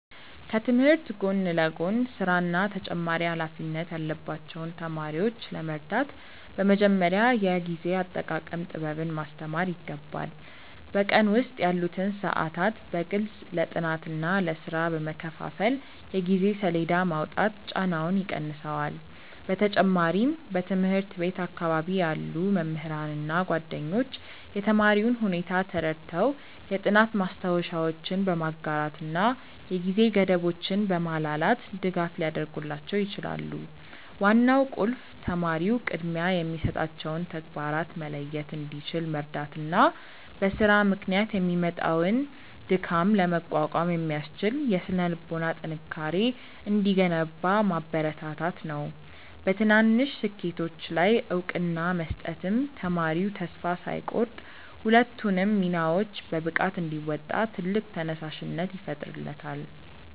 ከትምህርት ጎን ለጎን ሥራና ተጨማሪ ኃላፊነት ያለባቸውን ተማሪዎች ለመርዳት በመጀመሪያ የጊዜ አጠቃቀም ጥበብን ማስተማር ይገባል። በቀን ውስጥ ያሉትን ሰዓታት በግልጽ ለጥናትና ለሥራ በመከፋፈል የጊዜ ሰሌዳ ማውጣት ጫናውን ይቀንሰዋል። በተጨማሪም በትምህርት ቤት አካባቢ ያሉ መምህራንና ጓደኞች የተማሪውን ሁኔታ ተረድተው የጥናት ማስታወሻዎችን በማጋራትና የጊዜ ገደቦችን በማላላት ድጋፍ ሊያደርጉላቸው ይችላሉ። ዋናው ቁልፍ ተማሪው ቅድሚያ የሚሰጣቸውን ተግባራት መለየት እንዲችል መርዳትና በሥራ ምክንያት የሚመጣውን ድካም ለመቋቋም የሚያስችል የሥነ-ልቦና ጥንካሬ እንዲገነባ ማበረታታት ነው። በትናንሽ ስኬቶች ላይ እውቅና መስጠትም ተማሪው ተስፋ ሳይቆርጥ ሁለቱንም ሚናዎች በብቃት እንዲወጣ ትልቅ ተነሳሽነት ይፈጥርለታል።